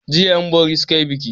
Jiya 'yanbori suka yi biki.